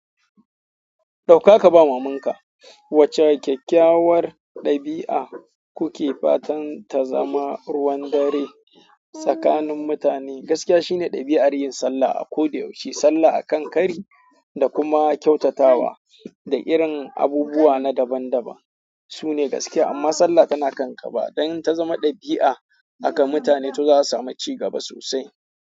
Dauka ka bawa mamanka wacce kyakkyawar ɗabi'a kuke fatan ta zama ruwan dare tsakanin mutane? Gaskiya shine ɗabi'ar yin sallah a koda yaushe, sallah akan kari da kuma kyautatawa da irin abubuwa na daban daban sune gaskiya. Amma sallah tana kan gaba don in ta zama ɗabi'a aka mutane to za a samu cigaba sosai.